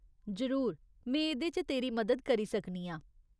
जरूर, में एह्दे च तेरी मदद करी सकनी आं।